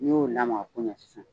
Ni y'o lamaga ko ɲɛn sisan.